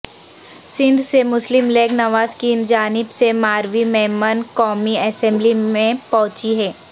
سندھ سے مسلم لیگ نواز کی جانب سے ماروی میمن قومی اسمبلی میں پہنچی ہیں